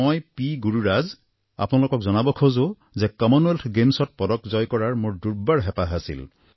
মই পি গুৰুৰাজ আপোনালোকক জনাব খোজোঁ যে কমনৱেলথ গেমছত পদক জয় কৰাৰ মোৰ দুৰ্বাৰ হেঁপাহ আছিল